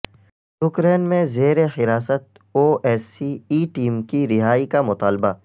Ukraine میں زیر حراست O S C E team کی رہائی کا مطالبہ